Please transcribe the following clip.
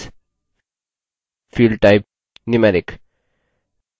field type numeric